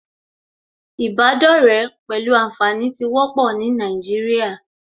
Ìbádọ́rẹ̀ẹ́ pẹ̀lú ànfàní tí wọ́pọ̀ ní Nàìjíríà